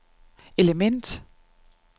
element